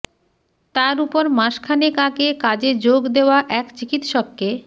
তার উপর মাস খানেক আগে কাজে যোগ দেওয়া এক চিকিৎসককে